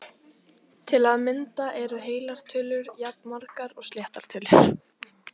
Til að mynda eru heilar tölur jafnmargar og sléttar tölur!